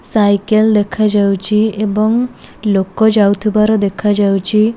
Cycle ଦେଖା ଯାଉଚି। ଏବଂ ଲୋକ ଯାଉଥିବାର ଦେଖାଯାଉଛି।